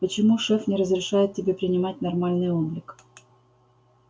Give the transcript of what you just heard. почему шеф не разрешает тебе принимать нормальный облик